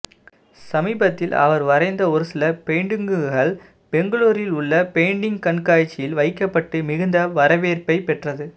சமீபத்தில் அவர் வரைந்த ஒரு சில பெயிண்டிங்குகள் பெங்களூரில் உள்ள பெயிண்டிங் கண்காட்சியில் வைக்கப்பட்டு மிகுந்த வரவேற்ப்பை பெற்றது